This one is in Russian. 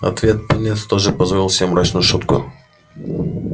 в ответ пониетс тоже позволил себе мрачную шутку